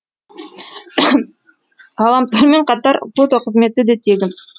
ғаламтормен қатар фото қызметі де тегін